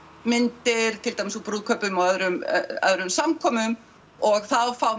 myndir til dæmis úr brúðkaupum og öðrum öðrum samkomum og þá fá